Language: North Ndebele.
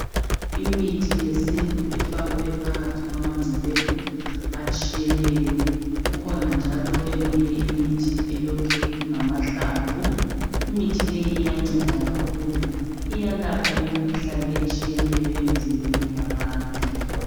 Imithi yesintu efakwe phakathi kwamangcebethu atshiyeneyo. Kukhona njalo eminye imithi elokhe ingamahlamvu. Imithi leyi iyanceda kakhulu, iyalapha imikhuhlane etshiyeneyo emizimbeni yabantu.